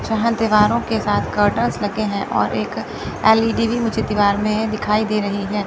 जहां दीवारों के साथ कर्टन्स लगे हैं और एक एल_इ_डी भी मुझे दीवार में दिखाई दे रही है।